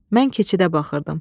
Mən keçidə baxırdım.